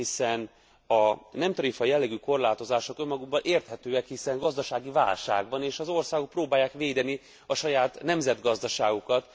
Hiszen a nem tarifa jellegű korlátozások önmagukban érthetőek, hiszen gazdasági válság van, és az országok próbálják védeni saját nemzetgazdaságukat.